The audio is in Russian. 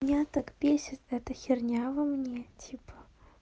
меня так бесит эта херня во мне типа